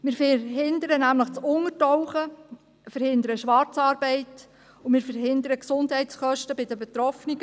Wir verhindern nämlich das Untertauchen, wir verhindern die Schwarzarbeit und wir verhindern Gesundheitskosten bei den Betroffenen.